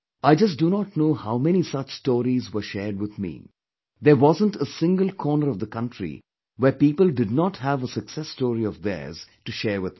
I just do not know how many such stories were shared with me, there wasn't a single corner of the country where people did not have a success story of theirs to share with me